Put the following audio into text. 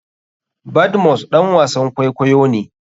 Badmus ɗan wasan kwakwayo ne.